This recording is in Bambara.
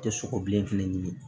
Tɛ sogo bilen fɛnɛ ɲini